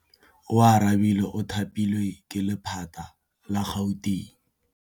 Oarabile o thapilwe ke lephata la Gauteng.